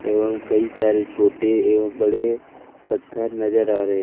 एवं कई सारे छोटे एवं बड़े पत्थर नजर आ रहे है।